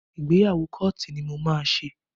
Ìgbéyàwó kóòtù ni mo máa ṣe